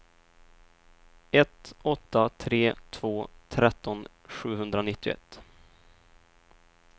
ett åtta tre två tretton sjuhundranittioett